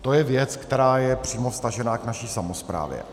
To je věc, která je přímo vztažená k naší samosprávě.